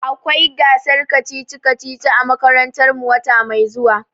Akwai gasar kacici-kacici a makarantar mu wata mai zuwa.